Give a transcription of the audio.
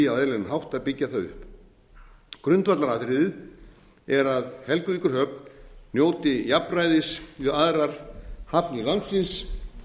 hátt að byggja það upp grundvallaratriðið er að helguvíkurhöfn njóti jafnræðis við aðrar hafnir landsins